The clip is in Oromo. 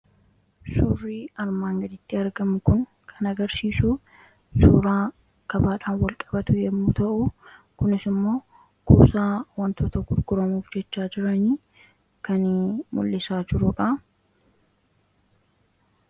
surrii armaan gaditti argamu kun kan agarsiisu suuraa kabaadhaan wal qabatu yommuu ta'uu kunis immoo kuusaa wantoota gurguramuuf jechaa jiranii kan mul'isaa jiruudha.